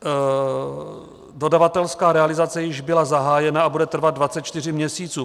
Dodavatelská realizace již byla zahájena a bude trvat 24 měsíců.